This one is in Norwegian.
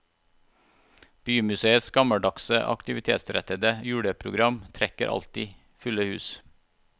Bymuseets gammeldagse aktivitetsrettede juleprogram trekker alltid fulle hus.